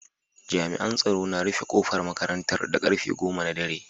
Jami'an tsaro na rufe kofar makarantar da karfe goma na dare.